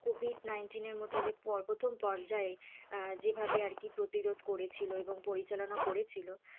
COVID nineteen এর মতো যে প্রথম পর্যায়ে যেভাবে আরকি প্রতিরোধ করেছিল এবং পরিচালনা করেছিল,